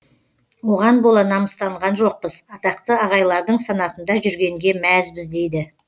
оған бола намыстанған жоқпыз атақты ағайлардың санатында жүргенге мәзбіз дейді